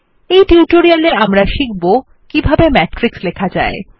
এই টিউটোরিয়ালে আমরা শিখব কিভাবে মেট্রিক্স লেখা যায়